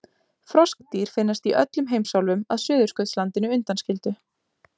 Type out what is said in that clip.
Froskdýr finnast í öllum heimsálfum að Suðurskautslandinu undanskildu.